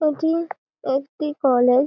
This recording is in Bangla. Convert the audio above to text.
এটি একটি কলেজ ।